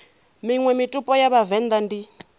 miṅwe mitupo ya vhavenḓa ndi